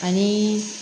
Ani